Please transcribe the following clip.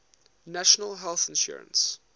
national health insurance